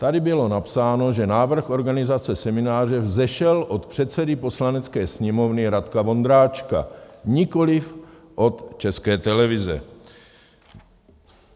Tady bylo napsáno, že návrh organizace semináře vzešel od předsedy Poslanecké sněmovny Radka Vondráčka, nikoliv od České televize.